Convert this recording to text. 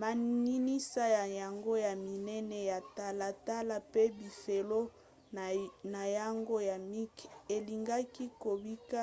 maninisa na yango ya minene ya talatala mpe bifelo na yango ya mike elingaki kobika